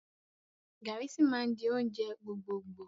Garri sì máa di oúnjẹ gbogbogboo